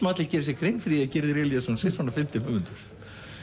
allir geri sér grein fyrir því að Gyrðir Elíasson sé svona fyndinn höfundur